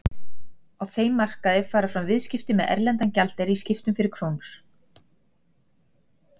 Á þeim markaði fara fram viðskipti með erlendan gjaldeyri í skiptum fyrir krónur.